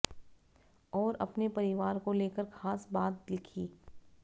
और अपने परिवार को लेकर खास बात लिखी